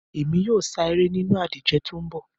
Èmi yóò sáré nínú ìdíje tó ń bọ̀